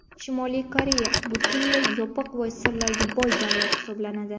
Shimoliy Koreya butunlay yopiq va sirlarga boy davlat hisoblanadi.